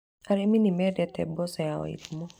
Arĩmi nĩ mendete mboco ya Wairimũ